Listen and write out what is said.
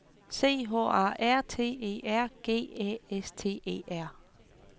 C H A R T E R G Æ S T E R